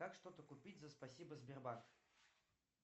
как что то купить за спасибо сбербанк